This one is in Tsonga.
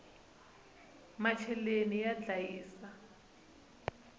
macheleni ya ndlayisa